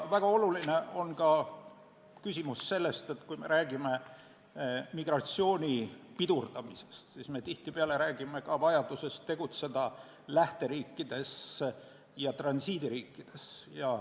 Väga oluline on ka see küsimus, et kui me räägime migratsiooni pidurdamisest, siis tihtipeale räägime vajadusest tegutseda lähteriikides ja transiidiriikides.